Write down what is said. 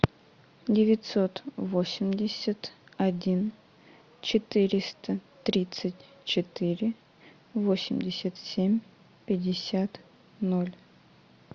девятьсот восемьдесят один четыреста тридцать четыре восемьдесят семь пятьдесят ноль